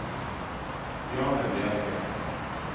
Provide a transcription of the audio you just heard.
Bjarne Bjerke